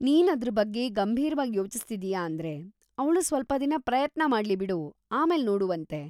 ನೀನ್‌ ಅದ್ರ್ ಬಗ್ಗೆ ಗಂಭೀರ್ವಾಗ್ ಯೋಚಿಸ್ತಿದೀಯಾ ಅಂದ್ರೆ ಅವ್ಳು ಸ್ವಲ್ಪ ದಿನ ಪ್ರಯತ್ನ ಮಾಡ್ಲಿ ಬಿಡು, ಆಮೇಲ್‌ ನೋಡುವಂತೆ.